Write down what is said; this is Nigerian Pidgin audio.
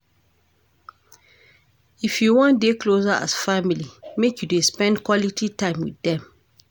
If you wan dey closer as family make you dey spend quality time wit dem.